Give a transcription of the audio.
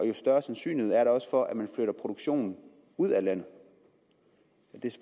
jo større sandsynlighed er der også for at den flytter produktionen ud af landet det